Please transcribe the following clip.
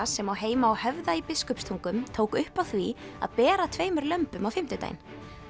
sem á heima á Höfða í Biskupstungum tók upp á því að bera tveimur lömbum á fimmtudaginn